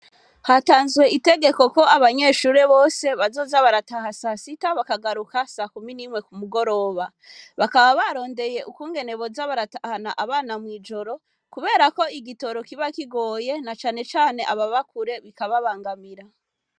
Hatanzwe itegeko ko abanyeshure bose bazoza barataha sasita, bakagaruka sakumi n'imwe kumugoroba. Bakaba barondeye ukungene boza baratahana abana mw'ijoro, kubera ko igitoro kiba kigoye na cane cane ababa kure, bikababangamira.